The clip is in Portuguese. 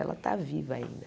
Ela está viva ainda.